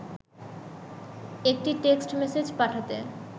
একটি text message পাঠাতে